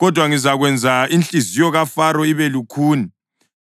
Kodwa ngizakwenza inhliziyo kaFaro ibe lukhuni,